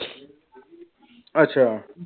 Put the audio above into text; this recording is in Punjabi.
ਅੱਛਾ।